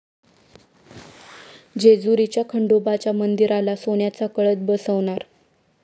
जेजुरीच्या खंडोबाच्या मंदिराला सोन्याचा कळस बसवणार